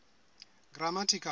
grammatical